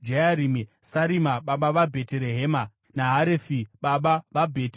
Sarima baba vaBheterehema, naHarefi baba vaBheti Gadheri.